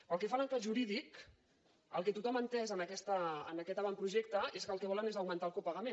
pel que fa a l’encaix jurídic el que tothom ha entès en aquest avantprojecte és que el que volen és augmentar el copagament